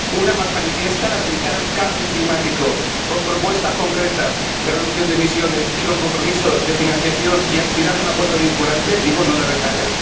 Una, más manifiesta la de evitar el cambio climático, con propuestas concretas de reducción de emisiones y con compromiso de financiación, y que aspira a un acuerdo vinculante, digo, no de retales.